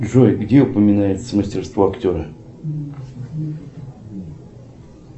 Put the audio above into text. джой где упоминается мастерство актера